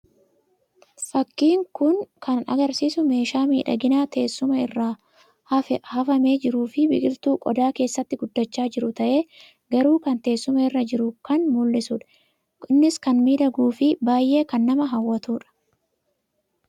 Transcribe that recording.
Fakkiin kun kan agarsiisu meeshaa miidhaginaa teessuma irra hafamee jiruu fi biqiltuu qodaa keessaatti guddachaa jiru ta'ee garuu kan teessuma irra jiru kan mul'isuudha. Innis kan miidhaguu fi baauyee kan nama hawwatuudha.